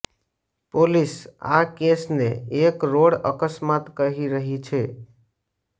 police આ કેસને એક રોડ અકસ્માત કહી રહી છે